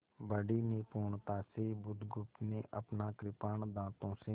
बड़ी निपुणता से बुधगुप्त ने अपना कृपाण दाँतों से